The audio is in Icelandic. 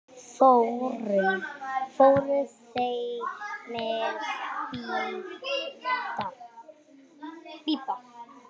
Fóru þeir með Bibba?